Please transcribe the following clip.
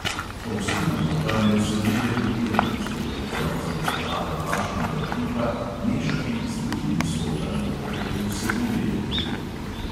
Ovsena moka ne vsebuje glutena, zato jo moramo za pripravo kvašenega kruha mešati z drugimi sortami moke, ki vsebujejo gluten.